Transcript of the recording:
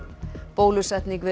bólusetning við